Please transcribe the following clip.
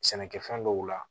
Sɛnɛkɛfɛn dɔw la